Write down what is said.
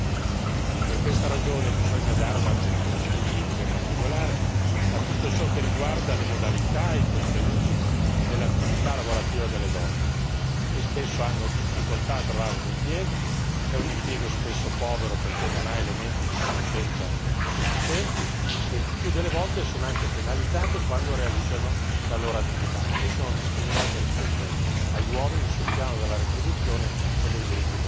Per questa ragione bisogna prestare un'attenzione specifica e particolare a tutto ciò che riguarda le modalità e i contenuti dell'attività lavorativa delle donne, che spesso hanno difficoltà a trovare un impiego che è un impiego spesso povero perché non ha elementi di conoscenza sufficienti e il più delle volte sono anche penalizzate quando realizzano la loro attività, perché sono discriminate rispetto agli uomini sul piano della retribuzione o dei diritti concreti.